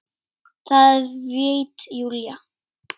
Það veit Júlía.